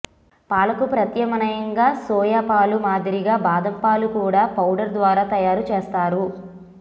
పాలకు ప్రత్యామ్నాయంగా సోయా పాల మాదిరిగా బాదం పాలు కూడా పౌడర్ ద్వారా తయారు చేస్తారు